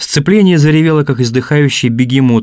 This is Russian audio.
сцепление заревело как издыхающий бегемот